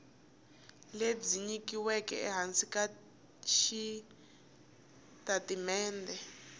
lebyi nyikiweke ehansi ka xitatimende